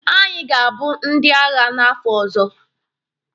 Anyị ga-abụ ndị agha n'afọ ọzọ.